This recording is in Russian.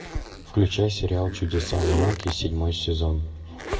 включай сериал чудеса науки седьмой сезон